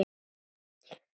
Konur signdu sig.